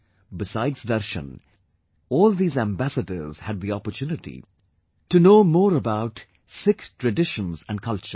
Besides Darshan, all these Ambassadors had the opportunity to know more about Sikh traditions and culture